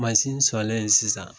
sɔlen sisan